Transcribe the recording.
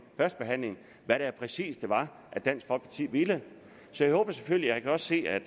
hvad det præcis var at dansk folkeparti ville så jeg håber selvfølgelig jeg kan også se at